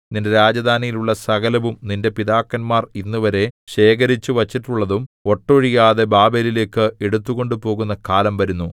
നിന്റെ രാജധാനിയിൽ ഉള്ള സകലവും നിന്റെ പിതാക്കന്മാർ ഇന്നുവരെ ശേഖരിച്ചുവെച്ചിട്ടുള്ളതും ഒട്ടൊഴിയാതെ ബാബേലിലേക്ക് എടുത്തു കൊണ്ടുപോകുന്ന കാലം വരുന്നു